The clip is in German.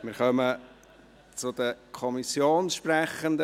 Wir kommen zu den Fraktionssprechenden.